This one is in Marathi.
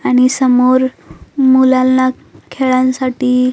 आणि समोर मुलांना खेळांसाठी--